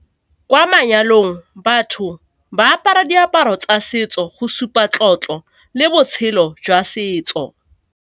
Kwa manyalong batho ba apara diaparo tsa setso go supa tlotlo le botshelo jwa setso.